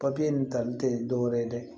Papiye nin tali tɛ dɔwɛrɛ ye dɛ